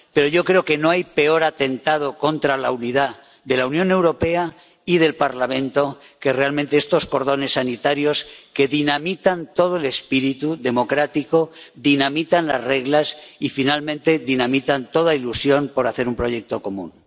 Pero yo creo que, realmente, no hay peor atentado contra la unidad de la Unión Europea y del Parlamento que estos cordones sanitarios que dinamitan todo el espíritu democrático, dinamitan las reglas y, finalmente, dinamitan toda ilusión por hacer un proyecto común.